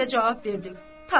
mən də cavab verdim.